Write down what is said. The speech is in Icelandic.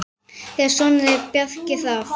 Þeirra sonur er Bjarki Hrafn.